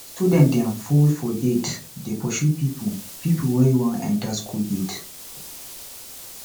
student dem full for gate dey pursue pipu pipu wey wan enta skool gate